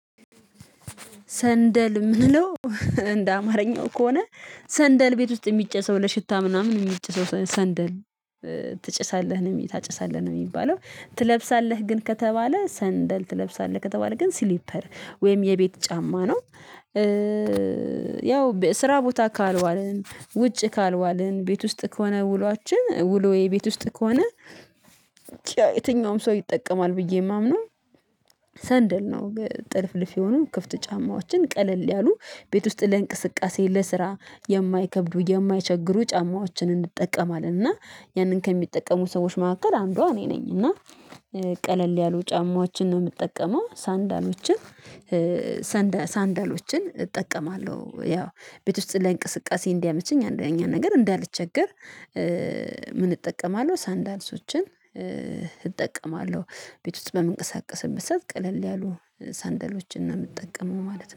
ሰንደል የምንለው እንደ አማርኛው ከሆነ፤ ሰንደል ቤት ውስጥ የሚጨሰው ለሽታ ምናምን የሚጭሰው ሰንደል ትጭሳለህ ወይም ታጨሳለ ነው የሚባለው። ትለብሳለህ ግን ከተባለ ሰንደል ትለብሳለህ ከተባለ ግን ሲሊፐር ወይም የቤት ጫማ ነው። ያው ስራ ቦታ ካልዋልን፤ ውጭ ካልዋልን፤ ቤት ውስጥ ከሆነ ውሏችን ውሎዬ ቤት ውስጥ ከሆነ የትኛውም ሰው ይጠቀማል ብዬ የማምነው ሰንደል ነው። ጥልፍልፍ የሆኑ፤ ክፍት ጫማዎችን ቀለል ያሉ ቤት ውስጥ ለእንቅስቃሴ፥ ለስራ የማይከብዱ፥ የማይቸግሩ ጫማዎችን እንጠቀማለን፤ እና ያንን ከሚጠቀሙ ሰዎች መካከል አንዷ እኔ ነኝ። እና ቀለል ያሉ ጫማዎችን ነው የምጠቀመው ሰንደሎችን ሰንደል ሳንዳሎችን እጠቀማለሁ። ያው ቤት ውስጥ ለእንቅስቃሴ እንዲያመቸኝ አንደኛ ነገር እንዳልቸገር ምን እጠቀማለሁ ሳንዳልሶችን እጠቀማለሁ። ቤት ውስጥ በምንቀሳቀስበት ሰዕት ቀለል ያሉ ሳንደሎችን ነው የምጠቀመው ማለት ነው።